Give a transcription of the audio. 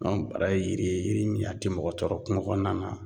bara ye yiri ye yiri min a te mɔgɔ tɔɔrɔ kungo kɔɔna na